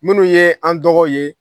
Minnu ye an dɔgɔ ye